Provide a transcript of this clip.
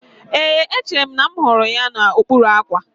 Éè, echere m na mụ hụrụ ya n'okpuru àkwà